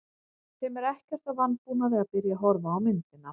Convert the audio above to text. Þeim er ekkert að vanbúnaði að byrja að horfa á myndina.